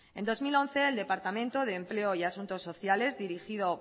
en dos mil once el departamento de empleo y asunto sociales dirigido